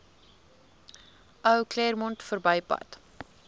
ou claremont verbypad